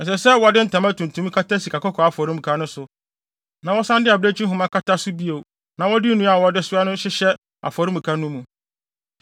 “Ɛsɛ sɛ wɔde ntama tuntum kata sikakɔkɔɔ afɔremuka no so na wɔsan de abirekyi nhoma kata so bio na wɔde nnua a wɔde soa no hyehyɛ afɔremuka no mu.